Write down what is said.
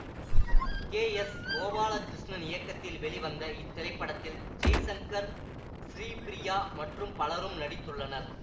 K S Gopalakrishnan இயக்கத்தில் வெளிவந்த இத்திரைப்படத்தில் ஜெய்சங்கர் ஸ்ரீபிரியா மற்றும் பலரும் நடித்துள்ளனர்